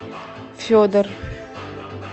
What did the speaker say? федор